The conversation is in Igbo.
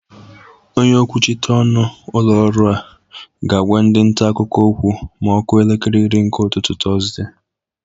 Onye okwuchita ọnụ ụlọ ọrụ a ga-agwa ndị nta akụkọ okwu ma ọ kụọ elekere iri nke ụtụtụ Tọzde.